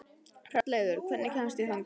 Hrolleifur, hvernig kemst ég þangað?